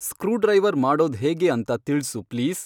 screwdriver ಮಾಡೋದ್ ಹೇಗೆ ಅಂತ ತಿಳ್ಸು ಪ್ಲೀಸ್